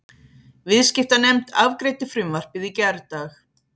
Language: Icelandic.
Viðskiptanefnd afgreiddi frumvarpið í gærdag